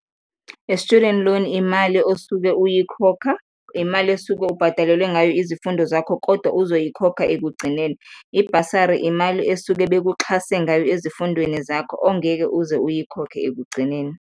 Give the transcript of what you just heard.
A student loan imali osuke uyikhokha, imali esuke ubhadalelwe ngayo izifundo zakho kodwa uzoyikhokha ekugcineni. I-bursary imali esuke bekuxhase ngayo ezifundweni zakho ongeke uze uyikhokhe ekugcineni.